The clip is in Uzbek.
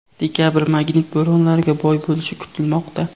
Dekabr magnit bo‘ronlariga boy bo‘lishi kutilmoqda.